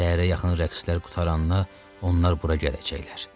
Səhərə yaxın rəqslər qurtaranda onlar bura gələcəklər.